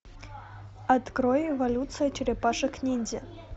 открой эволюция черепашек ниндзя